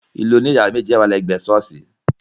Ilé oní yàrá méjì yen wà ní ègbé sọ́ọ̀sì